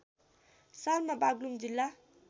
सालमा बाग्लुङ जिल्ला